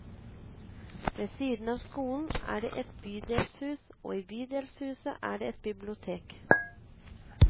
Ved siden av skolen er det et bydelshus og i bydelshuset er det et bibliotek.